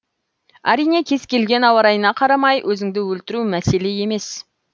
әрине кез келген ауа райына қарамай өзіңді өлтіру мәселе емес